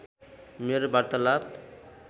मेरो वार्तालाप